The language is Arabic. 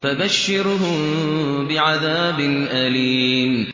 فَبَشِّرْهُم بِعَذَابٍ أَلِيمٍ